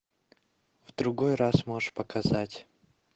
в другой раз можешь показать